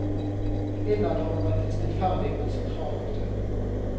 Innad har hun vært en stillferdig, men sentral aktør.